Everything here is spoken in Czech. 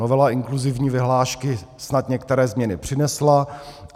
Novela inkluzivní vyhlášky snad některé změny přinesla.